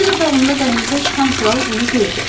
Öz otağında dəhlizə çıxan kral bunu gördü.